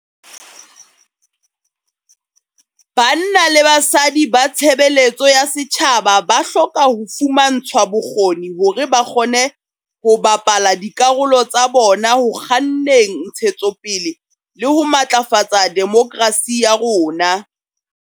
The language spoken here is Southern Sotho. Banna le basadi ba tshebe letso ya setjhaba ba hloka ho fumantshwa bokgoni hore ba kgone ho bapala dikarolo tsa bona ho kganneng ntshe tsopele le ho matlafatsa demokrasi ya rona.